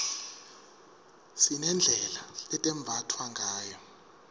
sinedlela letembatfwa ngayo